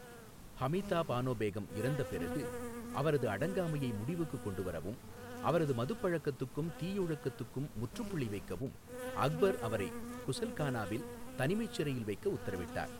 ஹமிதா பானோ பேகம் இறந்த பிறகு, அவரது அடங்காமையை முடிவுக்குக் கொண்டுவரவும், அவரது மதுபழக்கத்துக்கும் தீயொழுக்கத்துக்கும் முற்றுப்புள்ளி வைக்கவும், அக்பர் அவரை குசல்கானாவில் தனிமைச் சிறையில் வைக்க உத்தரவிட்டார்.